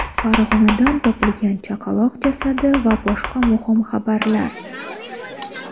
Farg‘onadan topilgan chaqaloq jasadi va boshqa muhim xabarlar.